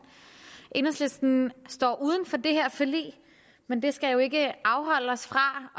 enhedslisten står uden for det her forlig men det skal jo ikke afholde os fra